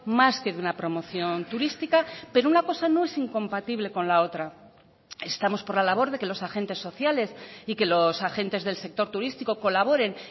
más que de una promoción turística pero una cosa no es incompatible con la otra estamos por la labor de que los agentes sociales y que los agentes del sector turístico colaboren